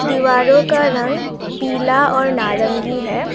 दीवारों का रंग पीला और नारंगी है।